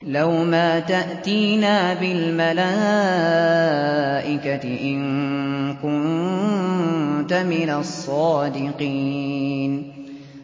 لَّوْ مَا تَأْتِينَا بِالْمَلَائِكَةِ إِن كُنتَ مِنَ الصَّادِقِينَ